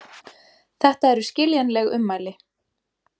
Þetta eru skiljanleg ummæli